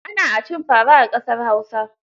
Ana a cin fara a ƙasar Hausa.